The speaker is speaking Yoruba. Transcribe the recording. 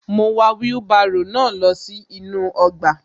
Mo wà wheelbarrow náà lọ sí inú ọgbà